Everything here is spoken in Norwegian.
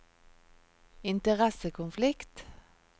interessekonflikt